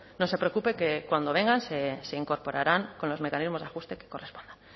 no se preocupe que cuando vengan se incorporarán con los mecanismos de ajuste que correspondan